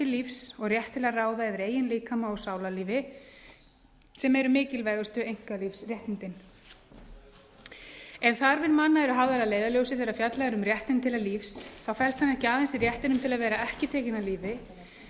lífs og rétt til að ráða yfir eigin líkama og sálarlífi sem eru mikilvægustu einkalífsréttindin ef þarfir manna eru hafðar að leiðarljósi þegar fjallað er um réttinn til lífs felst hann ekki aðeins í réttinum til að vera ekki tekinn af lífi